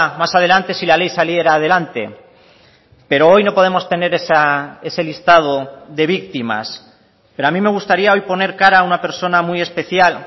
más adelante si la ley saliera adelante pero hoy no podemos tener ese listado de víctimas pero a mí me gustaría hoy poner cara a una persona muy especial